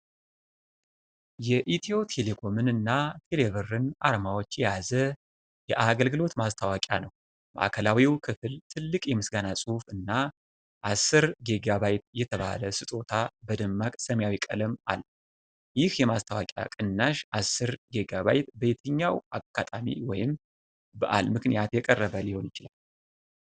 የኢትዮ ቴሌኮምን እና ቴሌብርን አርማዎች የያዘ የአገልግሎት ማስተዋወቂያ ነው። ማዕከላዊው ክፍል ትልቅ የምስጋና ጽሑፍ እና '10 ጊ.ባ.' የተባለ ስጦታ በደማቅ ሰማያዊ ቀለም አለ። ይህ የማስተዋወቂያ ቅናሽ (10 ጊ.ባ.) በየትኛው አጋጣሚ ወይም በዓል ምክንያት የቀረበ ሊሆን ይችላል?